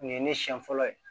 Nin ye ne siɲɛ fɔlɔ ye